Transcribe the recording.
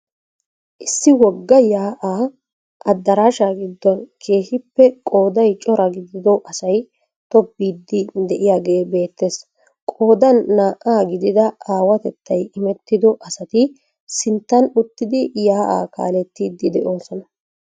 Issi wogga yaa'aa adaraashaa gidon keehiippe qooday cora gidido asay tobbiidi de'iyaagee beettees. Qoodan naa'a gidida aawatettay immettido asati sinttan uttidi yaa'aa kaalettidi de'oosona.